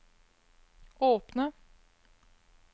åpne